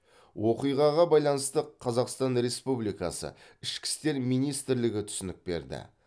оқиғаға байланысты қазақстан республикасы ішкі істер министрлігі түсінік берді